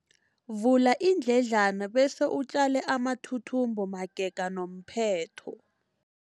Vula iindledlana bese utjale amathuthumbo magega nomphetho.